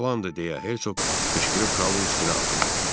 Bu yalandır, deyə Hersoq qışqırıb kralın üstünə atıldı.